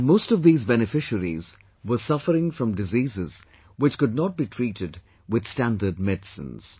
And most of these beneficiaries were suffering from diseases which could not be treated with standard medicines